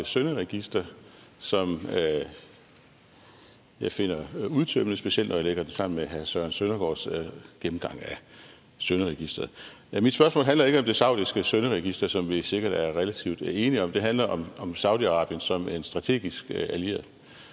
synderegister som jeg finder udtømmende specielt når jeg lægger det sammen med herre søren søndergaards gennemgang af synderegisteret mit spørgsmål handler ikke om det saudiske synderegister som vi sikkert er relativt enige om det handler om saudi arabien som en strategisk allieret